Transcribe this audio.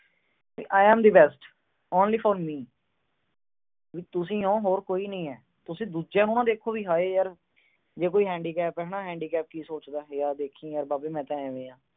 I am the best only for me. ਤੁਸੀਂ ਓ ਹੋਰ ਕੋਈ ਨਹੀਂ ਆ। ਤੁਸੀਂ ਦੂਜਿਆਂ ਨੂੰ ਨਾ ਦੇਖੋ। ਜੇ ਕੋਈ handicap ਆ, handicap ਕੀ ਸੋਚਦਾ, ਆ ਦੇਖੀ ਬਾਬੇ ਯਾਰ ਮੈਂ ਤਾਂ ਆਏ ਆ।